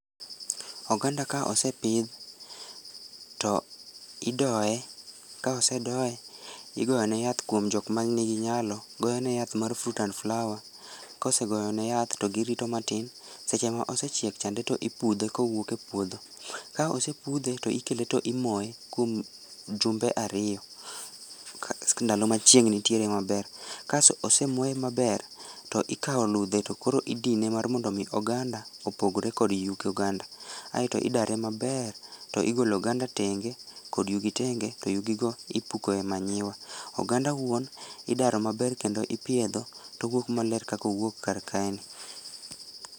Oganda ka osepidh, to idoye, ka osedoye, igoyo ne yath kuom jokma nigi nyalo goyo ne yath mar [csfruit and flower, kosegoyo ne yath to girito matin seche ma osechiek chande to ipudhe ka owuok e puodho, ka opsepudhe to ikele to imoye kuom jumbe ariyo, ndalo ma chieng nitiere maber, ka osemoye maber, to ikawo ludhe to koro idine mar mondo omi oganda opogore kod yuk oganda aeto idare maber to igolo oganda tenge kod yugi tenge to yugi go ipuko e manure, oganda wuon idaro maber kendo ipiedho to owuok maler kaka owuok karkae ni.